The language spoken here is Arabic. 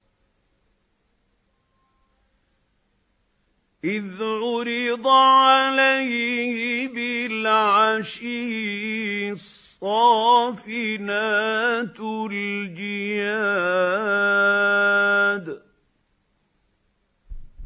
إِذْ عُرِضَ عَلَيْهِ بِالْعَشِيِّ الصَّافِنَاتُ الْجِيَادُ